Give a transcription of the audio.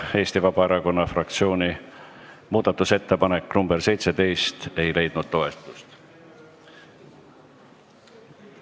Eesti Vabaerakonna fraktsiooni muudatusettepanek nr 17 ei leidnud toetust.